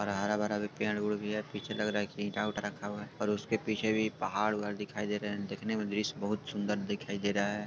और हरा-भरा भी पेड़-उड़ भी है पीछे लग रहा है कि ईटा-उटा रखा हुआ है और उसके पीछे भी पहाड़ उहार दिखाई दे रहा है देखने में दृश्य बहुत सुंदर दिखाई दे रहा है।